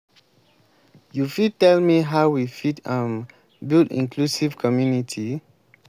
you fit tell me how we fit um build inclusive community?